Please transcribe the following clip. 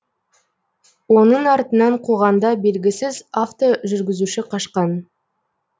оның артынан қуғанда белгісіз автожүргізуші қашқан